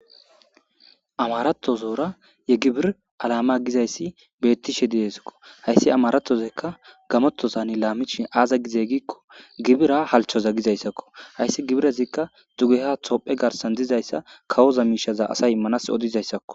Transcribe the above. amaratozoora ye gibir alama gizayssi beettishe diesakko hayssi amaratozekka gamotozani laamicshi aaza gizey giikko gibira halchoza gizayssakko hayssi gibirezikka dugeha toophe garsan dizayssa kawoza miishaza asay immanas odizayssakko